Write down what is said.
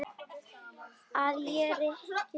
Að ég reikni með öllu.